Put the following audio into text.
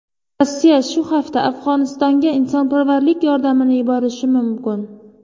Rossiya shu hafta Afg‘onistonga insonparvarlik yordamini yuborishi mumkin.